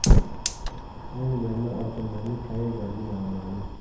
Ayni damda oltinlarning qayerdaligi noma’lum.